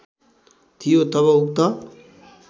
थियो तब उक्त